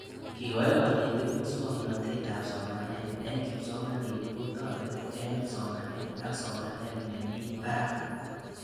Kekoch kanetik muswognatet ab somanet eng' kipsomanik kotareti eng' somanet ak somanet nemii parak